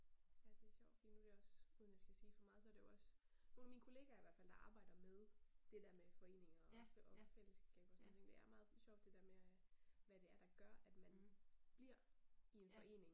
Ja det sjovt fordi nu det også uden jeg skal sige for meget så det også nogle af mine kollegaer i hvert fald, der arbejder med det der med foreninger og og fællesskaber og sådan nogle ting det er meget sjovt det der med at hvad det er der gør at min bliver i en forening